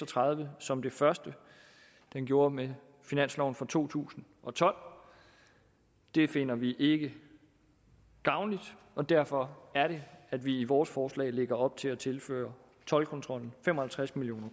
tredive som det første den gjorde med finansloven for to tusind og tolv det finder vi ikke gavnligt og derfor er det at vi i vores forslag lægger op til at tilføre toldkontrollen fem og halvtreds million